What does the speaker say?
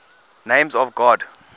names of god